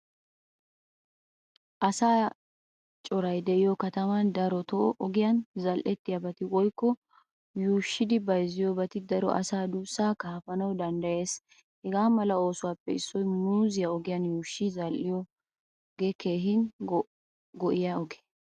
Asa coray de'iyo kataman daroto ogiyan zal'iyobati woykko yuushshidi bayzziyobat daro asa duusa kaafanawu danddayees. Hagamala oosuwaappe issoy muuzziyaa ogiyan yuushshi zal'iyoge keehin go'iyaa ogee.